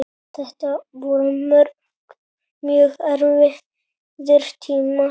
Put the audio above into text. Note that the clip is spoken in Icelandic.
Þetta voru mjög erfiðir tímar.